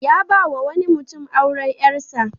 Ya ba wa wani mutum auren ƴarsa.